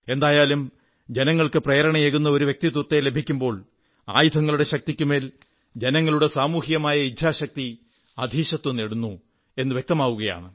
എന്തായാലും ജനങ്ങൾക്ക് പ്രേരണയേകുന്ന ഒരു വ്യക്തിത്വത്തെ ലഭിക്കുമ്പോൾ ആയുധങ്ങളുടെ ശക്തിക്കുമേൽ ജനങ്ങളുടെ സാമൂഹികമായ ഇച്ഛാശക്തി അധീശത്വം നേടുന്നു എന്നു വ്യക്തമാവുകയാണ്